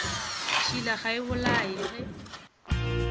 tšhila ga e bolaye ge